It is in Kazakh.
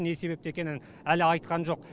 не себепті екенін әлі айтқан жоқ